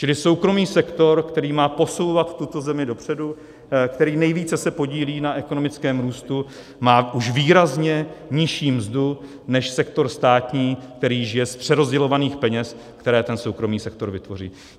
Čili soukromý sektor, který má posouvat tuto zemi dopředu, který se nejvíce podílí na ekonomickém růstu, má už výrazně nižší mzdu než sektor státní, který žije z přerozdělovaných peněz, které ten soukromý sektor vytvoří.